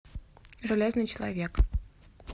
железный человек